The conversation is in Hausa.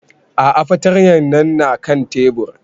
A'a fartanyan na kan tebur